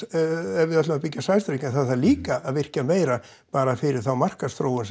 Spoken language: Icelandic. ef við ætlum að byggja sæstreng en það þarf líka að virkja meira bara fyrir markaðsþróun